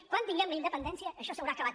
quan tinguem la independència això s’haurà acabat